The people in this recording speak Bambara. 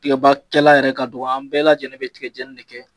Kilemakɛla yɛrɛ ka dɔgɔ an bɛɛ lajɛlen bɛ tigɛ jeni de kɛ.